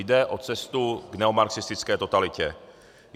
Jde o cestu k neomarxistické totalitě.